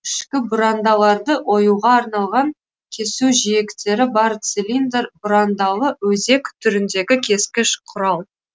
ішкі бұрандаларды оюға арналған кесу жиектері бар цилиндр бұрандалы өзек түріндегі кескіш құрал